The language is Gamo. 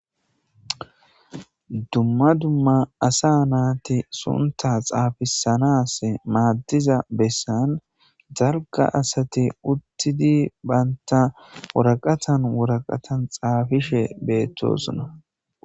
dumma dumma asa naati sunta xaafisanas maaddiza bessan dalga asati uttidi baynta wuraqatan woraqatan xaafishe beettosuna